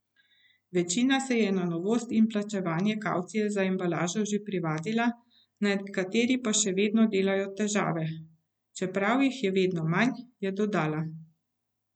Večina se je na novost in plačevanje kavcije za embalažo že privadila, nekateri pa še vedno delajo težave, čeprav jih je vedno manj, je dodala.